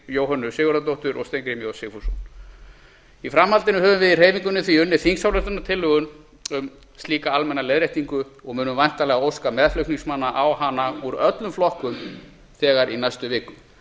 jóhönnu sigurðardóttur og steingrím j sigfússon í framhaldinu höfum við í hreyfingunni því unnið þingsályktunartillögu um slíka almenna leiðréttingu og munum væntanlega óska meðflutningsmanna á hana úr öllum flokkum þegar í næstu viku